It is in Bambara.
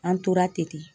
An tora ten